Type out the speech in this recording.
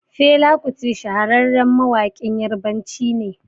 Fela kuti shahararren mawaƙin yarbanci ne